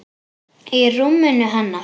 Í rúminu hennar.